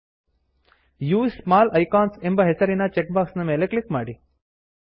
use small icons use small icons ಎಂಬ ಹೆಸರಿನ check box ನ ಮೇಲೆ ಕ್ಲಿಕ್ ಮಾಡಿ